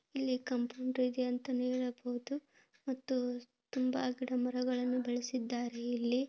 ಇಲ್ಲಿ ಕಂಪ್ರಿಂಟು ಇದೆ ಅಂತನೆ ಹೇಳಬಹುದು ಮತ್ತು ತುಂಬಾ ಗಿಡ ಮರಗಳನ್ನು ಬೆಳೆಸಿದ್ದಾರೆ ಇಲ್ಲಿ.